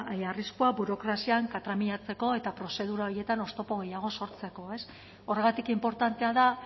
arriskua burokrazian katramilatzeko eta prozedura horietan oztopo gehiago sortzeko horregatik inportantea da